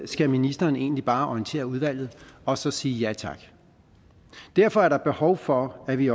skal ministeren egentlig bare orientere udvalget og så sige ja tak derfor er der behov for at vi